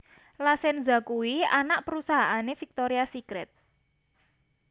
La Senza kuwi anak perusahaane Victoria Secret